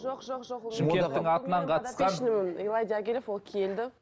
жоқ жоқ жоқ шымкенттің атынан қатысқан ол келді